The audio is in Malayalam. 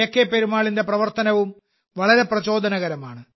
പെരുമാളിന്റെ പ്രവർത്തനവും വളരെ പ്രചോദനകരമാണ്